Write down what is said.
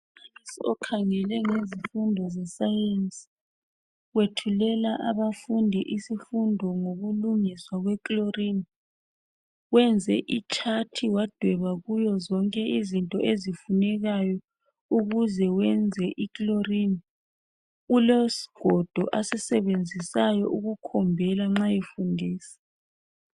Okhangele ngezifundo zeScience wethulela abafundi isifundo ngokulungiswa kwe Chlorine. Wenze ichat wadweba kuyo zonke izinto ezifunekayo ukuze wenze I chlorine. Ulesigodo asisebenzisayi ukukhombela nxa befundisa.